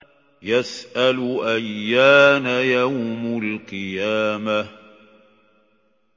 يَسْأَلُ أَيَّانَ يَوْمُ الْقِيَامَةِ